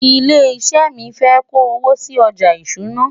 ilé iṣé mí fé kò owó sí ọjà ìṣúná